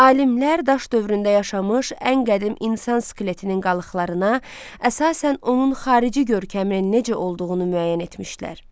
Alimlər daş dövründə yaşamış ən qədim insan skeletinin qalıqlarına əsasən onun xarici görkəminin necə olduğunu müəyyən etmişdilər.